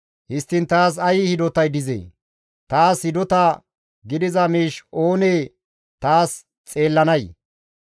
Histtiin taas ay hidotay dizee? taas hidota gidiza miish oonee taas xeellanay?